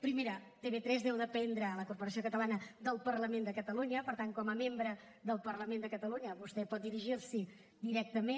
primera tv3 deu dependre la corporació catalana del parlament de catalunya per tant com a membre del parlament de catalunya vostè pot dirigir s’hi directament